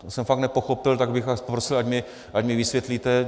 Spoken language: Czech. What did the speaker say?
To jsem fakt nepochopil, tak bych vás prosil, ať mi vysvětlíte...